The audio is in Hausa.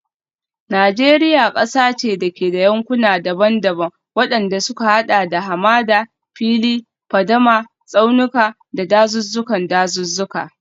Najeriya kasa ce da ke da yankuna daban-daban, wadanda suka hada da hamada, fili, fadama, tsaunuka, da dazuzzukan dazuzzuka.